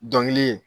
Dɔnkili